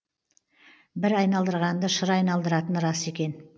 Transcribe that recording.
бір айналдырғанды шыр айналдыратыны рас екен